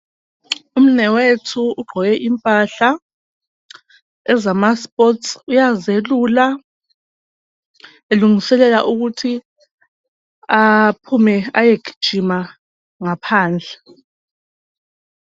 Umnewethu ugqoke impahla ezamaspotsi, uyazelula, elungiselela ukuthi aphume ayegijima ngaphandle.